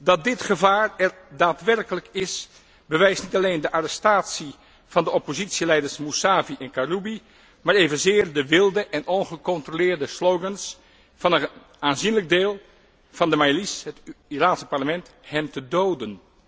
Dat dit gevaar er daadwerkelijk is, bewijst niet alleen de arrestatie van de oppositieleiders Musavi en Karoubi, maar evenzeer de wilde en ongecontroleerde oproepen van een aanzienlijk deel van de majlis, het Iraanse parlement, hen te doden.